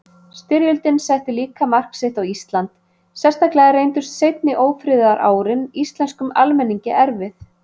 Styrjöldin setti líka mark sitt á Ísland, sérstaklega reyndust seinni ófriðarárin íslenskum almenningi erfið.